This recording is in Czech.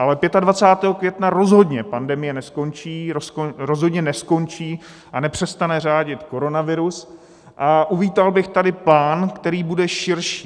Ale 25. května rozhodně pandemie neskončí, rozhodně neskončí a nepřestane řádit koronavirus a uvítal bych tady plán, který bude širší.